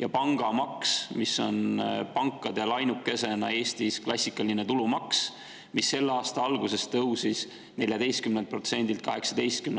ja pangamaks, mis on pankadel ainukesena Eestis, klassikaline tulumaks, mis selle aasta alguses tõusis 14%-lt 18%‑le.